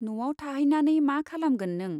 न'आव थाहैनानै मा खालामगोन नों ?